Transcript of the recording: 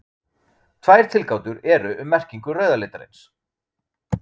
Tvær tilgátur eru um merkingu rauða litarins.